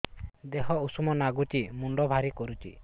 ଦିହ ଉଷୁମ ନାଗୁଚି ମୁଣ୍ଡ ଭାରି କରୁଚି